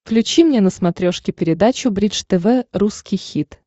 включи мне на смотрешке передачу бридж тв русский хит